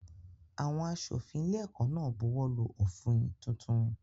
Àwọn aṣòfin ilé-ẹ̀kọ́ náà buwọ́lù òfin tuntun.